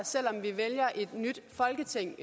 selv om vi vælger et nyt folketing